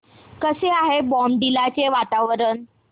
कसे आहे बॉमडिला चे वातावरण